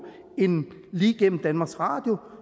end lige gennem danmarks radio